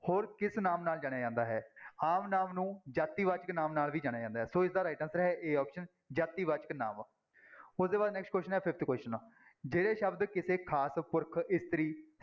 ਹੋਰ ਕਿਸ ਨਾਮ ਨਾਲ ਜਾਣਿਆ ਜਾਂਦਾ ਹੈ, ਆਮ ਨਾਂਵ ਨੂੰ ਜਾਤੀਵਾਚਕ ਨਾਂਵ ਨਾਲ ਵੀ ਜਾਣਿਆ ਜਾਂਦਾ ਹੈ ਸੋ ਇਸਦਾ right answer ਹੈ a option ਜਾਤੀਵਾਚਕ ਨਾਂਵ ਉਸਦੇ ਬਾਅਦ next question ਹੈ fifth question ਜਿਹੜੇ ਸ਼ਬਦ ਕਿਸੇ ਖ਼ਾਸ ਪੁਰਖ, ਇਸਤਰੀ